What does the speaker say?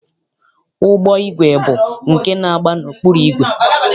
Ụgbọigwe bụ nke na-agba n'ọkpụrụ igwe.